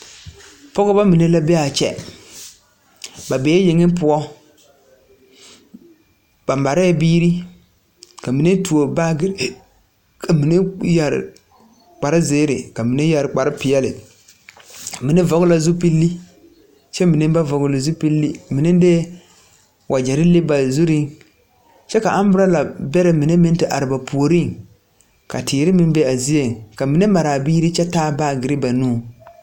Pɔgba mine la be a kyɛ ba bèè yeŋ poɔ ba marɛɛ biiri ka mine tuo baagire ka mine yɛre kpare zēēre ka mine yɛre kpare peɛle mine vɔgl la zupile kyɛ mine ba vɔgle zupile mine lee wagyɛre leŋ ba zureŋ kyɛ ka amburala bɛrɛ mine te are ba puoriŋ ka teere meŋ be a zieŋ ka mine maraa biiri kyɛ taa baagire ba nuŋ.